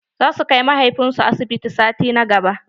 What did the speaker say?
Za su kai mahaifin su asibiti sati na gaba.